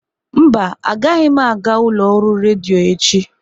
Mba, agaghị m aga ụlọ ọrụ redio echi.